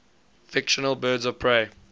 fictional birds of prey